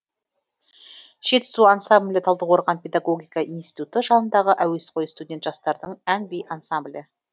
жетісу ансамблі талдыкорған педагогика институты жанындағы әуеской студент жастардың ән би ансамблі